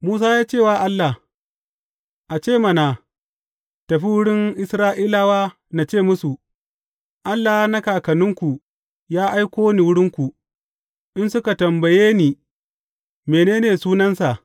Musa ya ce wa Allah, A ce ma na tafi wurin Isra’ilawa na ce musu, Allah na kakanninku ya aiko ni wurinku,’ in suka tambaye ni, Mene ne sunansa?’